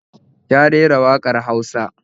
Ya rera waƙar Hausa